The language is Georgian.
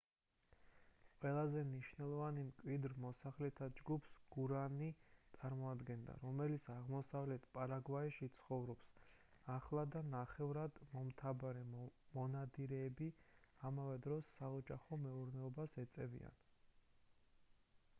ყველაზე მნიშვნელოვანი მკვიდრ მოსახლეთა ჯგუფს გუარანი წარმოადგენდა რომელიც აღმოსავლეთ პარაგვაიში ცხოვრობს ახლა და ნახევრად მომთაბარე მონადირეები ამავე დროს საოჯახო მეურნეობას ეწევიან